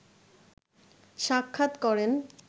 সাক্ষাৎ করেন